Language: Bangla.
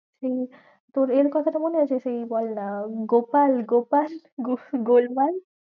সেই তোর এর কথাটা মনে আছে? সেই বলনা গোপাল গোপাল গুহ~ গোলমাল।